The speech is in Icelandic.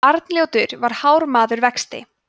arnljótur var hár maður vexti